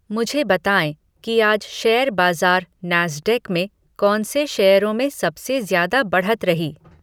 मुझे बताएँ कि आज शेयर बाजार नैस्डैक में कौन से शेयरों में सबसे ज्यादा बढ़त रही